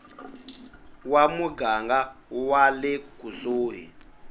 wa muganga wa le kusuhi